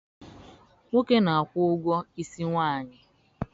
Nwoke na-akwụ ụgwọ isi nwaanyị